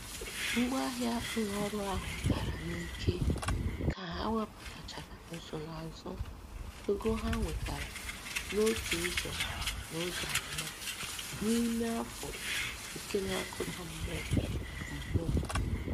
Ngwaahịa ụlọ ọrụ ahụ dara n'ike ka ha wepụtachara nsonaazụ ego ha nwetara n'otu ụzọ n'ụzọ anọ n'ime afọ nke na-akụda mmụọ. mmụọ.